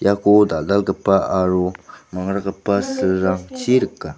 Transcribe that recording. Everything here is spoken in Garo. iako dal·dalgipa aro mangrakgipa silrangchi rika.